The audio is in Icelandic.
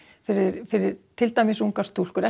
fyrir fyrir til dæmis ungar stúlkur